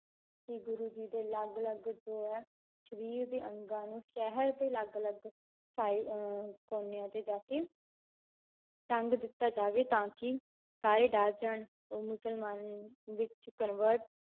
ਕਿ ਗੁਰੂ ਜੀ ਦੇ ਅਲੱਗ ਅਲੱਗ ਜੋ ਹੈ ਸਰੀਰ ਦੇ ਅੰਗਾਂ ਨੂੰ ਸ਼ਹਿਰ ਦੇ ਅਲੱਗ ਅਲੱਗ ਸਾਇ~ ਅਹ ਕੋਨਿਆਂ ਤੇ ਜਾ ਕੇ ਟੰਗ ਦਿੱਤਾ ਜਾਵੇ ਤਾਂ ਕਿ ਸਾਰੇ ਡਰ ਜਾਣ ਉਹ ਮੁਸਲਮਾਨ ਵਿੱਚ convert